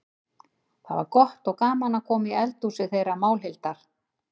Það var gott og gaman að koma í eldhúsið þeirra Málhildar.